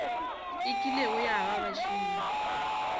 e kilego ya ba bašomi